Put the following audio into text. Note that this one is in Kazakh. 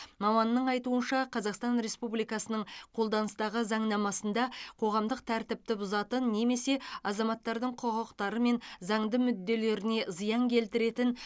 маманның айтуынша қазақстан республикасының қолданыстағы заңнамасында қоғамдық тәртіпті бұзатын немесе азаматтардың құқықтары мен заңды мүдделеріне зиян келтіретін